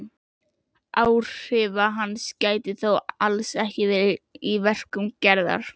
Áhrifa hans gætir þó alls ekki lengur í verkum Gerðar.